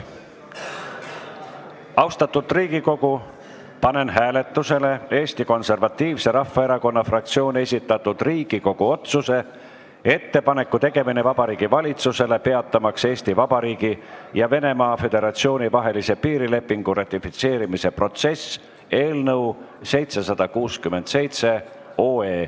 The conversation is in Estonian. Austatud Riigikogu, panen hääletusele Eesti Konservatiivse Rahvaerakonna fraktsiooni esitatud Riigikogu otsuse "Ettepaneku tegemine Vabariigi Valitsusele peatamaks Eesti Vabariigi ja Venemaa Föderatsiooni vahelise piirilepingu ratifitseerimise protsess" eelnõu 767.